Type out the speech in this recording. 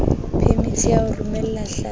phemiti ya ho romela hlapi